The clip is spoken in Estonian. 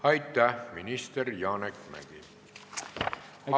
Aitäh, minister Janek Mäggi!